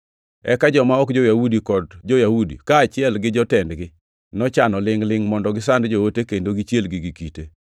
Eka joma ok jo-Yahudi kod jo-Yahudi, kaachiel gi jotendgi nochano lingʼ-lingʼ mondo gisand joote kendo gichielgi gi kite.